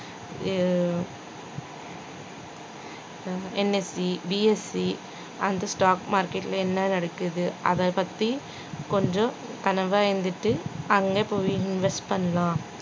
அஹ் NSCBSCand stock market ல என்ன நடக்குது அத பத்தி கொஞ்சம் அங்கபோயி invest பண்லாம்